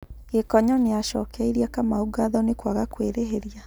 Gikonyo nĩacũkeirie Kamau ngatho nĩkũaga kwerĩheria